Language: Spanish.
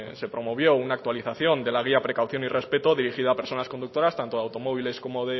se promovió una actualización de la guía precaución y respeto dirigida a personas conductoras tanto de automóviles como